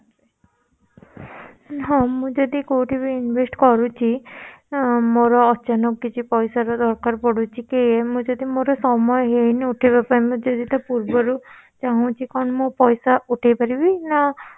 ହଁ ମୁଁ ଯଦି କୋଉଠି ବି investment କରୁଛି ମୋର ଅଚାନକ କିଛି ପଇସାର ଦରକାର ପଡୁଛି କି ମୁଁ ଯଦି ମୋର ସମୟ ହେଇନି ଉଠେଇବା ପାଇଁ ମୁଁ ଯଦି ତା ପୂର୍ବରୁ ଚାହୁଁଚି କଣ ମୋର ପଇସା ଉଠେଇ ପାରିବି ନା